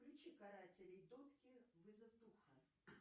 включи карателей дотки вызов духа